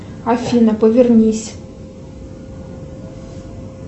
афина повернись